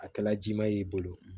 A kɛla ji ma y'i bolo